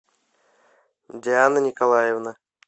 диана николаевна